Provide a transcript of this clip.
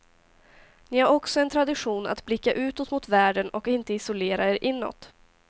Ni har också en tradition att blicka utåt mot världen och inte isolera er inåt.